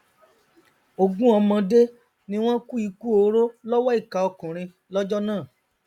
ogún ọmọdé ni wọn kú ikú oró lọwọ ìkà ọkùnrin lọjọ náà